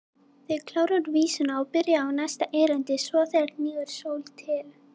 Þau kláruðu vísuna og byrjuðu á næsta erindi: SVO ÞEGAR HNÍGUR SÓL TIL